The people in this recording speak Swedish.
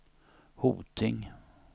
Hoting